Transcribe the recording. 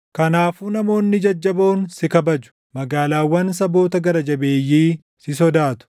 Kanaafuu namoonni jajjaboon si kabaju; magaalaawwan saboota gara jabeeyyii si sodaatu.